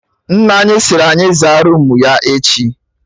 Nne anyị siri anyị zaa roomu ya echi